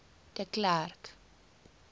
de klerk